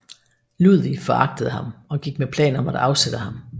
Ludvig foragtede ham og gik med planer om at afsætte ham